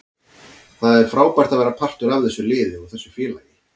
Það er frábært að vera partur af þessu liði og þessu félagi.